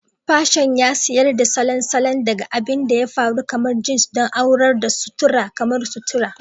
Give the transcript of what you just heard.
Fashion ya tsayar da salon salon, daga abin da ya faru kamar jeans don aurar da sutura kamar sutura.